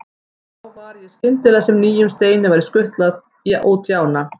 Og þá var skyndilega sem nýjum steini væri skutlað út í ána.